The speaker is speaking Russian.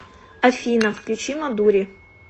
афина включи мадури